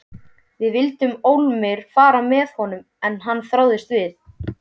Við vildum ólmir fara með honum en hann þráaðist við.